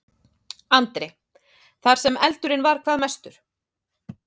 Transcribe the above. Andri: Þar sem eldurinn var hvað mestur?